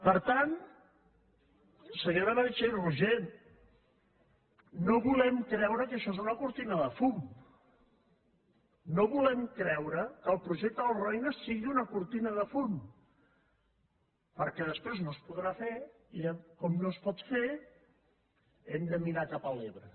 per tant senyora meritxell roigé no volem creure que això és una cortina de fum no volem creure que el projecte del roine sigui una cortina de fum perquè després no es podrà fer i diran com no es pot fer hem de mirar cap a l’ebre